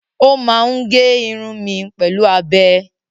Ó máa ń gé irun mi pẹ̀lú abẹ.